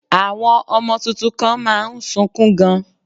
Àwọn ọmọ tuntun kan má a nsukún gan